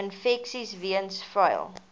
infeksies weens vuil